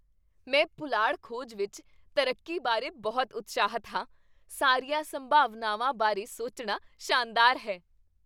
ਮੈਂ ਪੁਲਾੜ ਖੋਜ ਵਿੱਚ ਤਰੱਕੀ ਬਾਰੇ ਬਹੁਤ ਉਤਸ਼ਾਹਿਤ ਹਾਂ! ਸਾਰੀਆਂ ਸੰਭਾਵਨਾਵਾਂ ਬਾਰੇ ਸੋਚਣਾ ਸ਼ਾਨਦਾਰ ਹੈ।